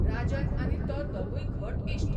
राजन आनी तो दोगूय घट इश्ट.